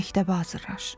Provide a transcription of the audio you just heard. Məktəbə hazırlaş.